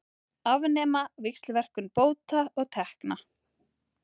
Afnema víxlverkun bóta og tekna